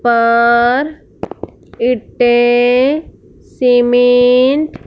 पर इंटें सिमिंट --